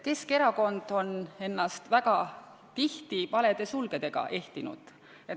Keskerakond on ennast väga tihti valede sulgedega ehtinud.